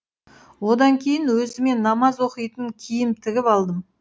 одан кейін өзіме намаз оқитын киім тігіп алдым